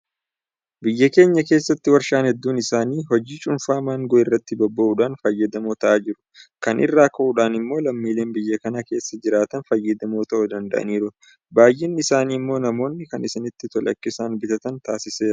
Biyya keenya keessatti warshaan hedduun isaanii hojii cuunfaa maangoo irratti bobba'uudhaan fayyadamoo ta'aa jiru. Kana irraa ka'uudhaan immoo lammiileen biyya kana keessa jiraatan fayyadamoo ta'uu danda'aniiru. Baay'inni isaanii immoo namoonni kan isaanitti tole akka isaan bitatan taasiseera.